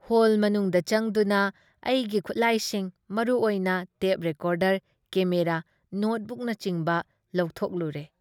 Hall ꯃꯅꯨꯨꯡꯗ ꯆꯡꯗꯨꯅ ꯑꯩꯒꯤ ꯈꯨꯠꯂꯥꯏꯁꯤꯡ ꯃꯔꯨ ꯑꯣꯏꯅ ꯇꯦꯞ ꯔꯦꯀꯣꯗꯔ, ꯀꯦꯃꯦꯔꯥ, ꯅꯣꯠꯕꯨꯛꯅꯆꯤꯡꯕ ꯂꯧꯊꯣꯛꯂꯨꯔꯦ ꯫